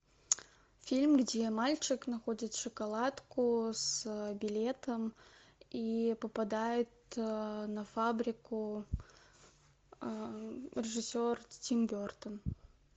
фильм где мальчик находит шоколадку с билетом и попадает на фабрику режиссер тим бертон